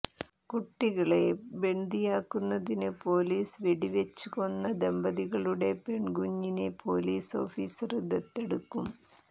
കുട്ടിക്കളെ ബന്ദിയാക്കിയതിന് പോലീസ് വെടിവെച്ച് കൊന്ന ദമ്പതികളുടെ പെണ്കുഞ്ഞിനെ പോലീസ് ഓഫീസര് ദത്തെടുക്കും